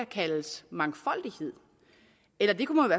kaldes mangfoldighed eller det kunne